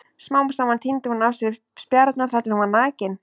Smám saman tíndi hún af sér spjarirnar þar til hún var nakin.